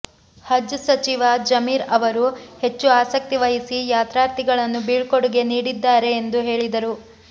ಹಜ್ ಸಚಿವ ಜಮೀರ್ ಅವರು ಹೆಚ್ಚು ಆಸಕ್ತಿ ವಹಿಸಿ ಯಾತ್ರಾರ್ಥಿಗಳನ್ನು ಬೀಳ್ಕೊಡುಗೆ ನೀಡಿದ್ದಾರೆ ಎಂದು ಹೇಳಿದರು